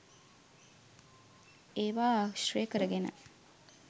ඒවා ආශ්‍රය කරගෙන